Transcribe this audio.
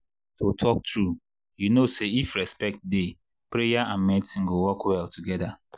to talk true you know say if respect dey prayer and medicine go work well together.